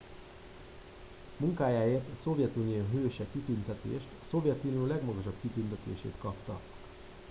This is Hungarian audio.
"munkájáért a "szovjetunió hőse" kitüntetést a szovjetunió legmagasabb kitüntetését kapta.